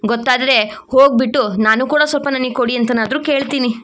ಗೊತ್ತಾದ್ರೆ ಹೋಗ್ಬಿಟ್ಟು ನಾನು ಕೂಡ ಸ್ವಲ್ಪ ನನಗೆ ಕೊಡಿ ಅಂತನಾದ್ರೂ ಕೇಳ್ತೀನಿ.